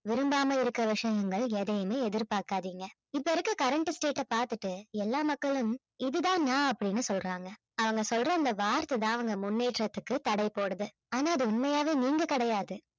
விரும்பாம இருக்குற விஷயங்கள் எதையுமே எதிர்பார்க்காதீங்க இப்ப இருக்கிற current state அ பாத்துட்டு எல்லா மக்களும் இது தான் நான் அப்படின்னு சொல்றாங்க அவங்க சொல்ற அந்த வார்த்தை தான் அவங்க முன்னேற்றத்திற்கு தடை போடுது ஆனா அது உண்மையாவே நீங்க கிடையாது